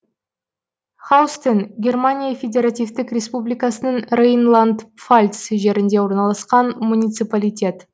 хаустен германия федеративтік республикасының рейнланд пфальц жерінде орналасқан муниципалитет